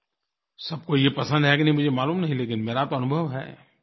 सबको ये पसंद है कि नहीं मुझे मालूम नहीं लेकिन मेरा तो अनुभव है